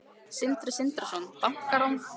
Sindri Sindrason: Bankarán?